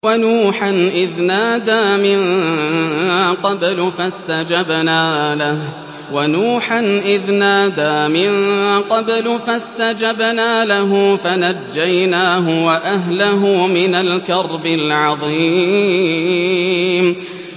وَنُوحًا إِذْ نَادَىٰ مِن قَبْلُ فَاسْتَجَبْنَا لَهُ فَنَجَّيْنَاهُ وَأَهْلَهُ مِنَ الْكَرْبِ الْعَظِيمِ